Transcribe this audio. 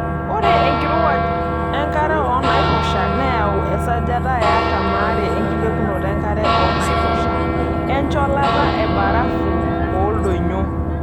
Ore enkirowuaj enkare oonaiposha neyawua esajata e 42% enkilepunoto enkare oo naiposha, encholata embarafu tooldonyio.